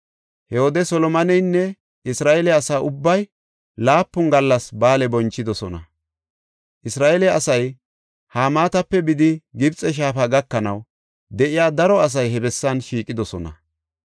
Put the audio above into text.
He wode Solomoneynne Isra7eele asa ubbay laapun gallas ba7aale bonchidosona. Isra7eele asay Hamaatape bidi Gibxe shaafa gakanaw de7iya daro asay he bessan shiiqidosona.